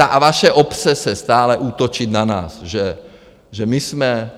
Ta vaše obsese - stále útočit na nás, že my jsme